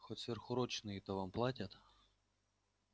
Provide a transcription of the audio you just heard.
хоть сверхурочные-то вам платят